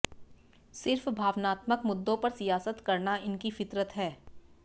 सिर्फ भावनात्मक मुद्दों पर सियासत करना इनकी फितरत है